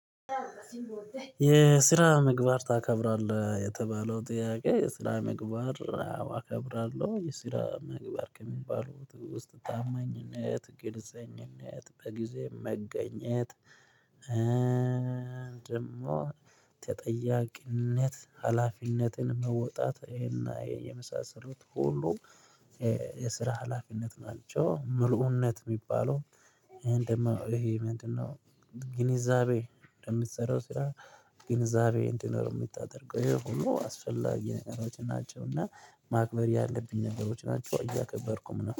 የስራ ምግባር ታከብራለህ የተባለው ጥያቄ የስራ ምግባር አከብራለሁ የስራ ምግባር ከሚባሉት ውስጥ ታማኝነት ግልጽኝነት በጊዜ መገኘት። ደግሞ ተጠያቂነት ሀላፊነትን መወጣት ይሄና ይሄን የመሳሰሉት ሁሉ። የስራ ሀላፊነት ናቸው ምልኡነት የሚባለው። ይሄ ምንድነው? ግንዛቤ እንደምትሰራው ስራ። ግንዛቤ እንዲኖር የምታደርገው ይሄ ሁሉ አስፈላጊ ነገሮች ናቸው። እና ማክበር ያለብኝ ነገሮች ናቸው እያከበርኩም ነው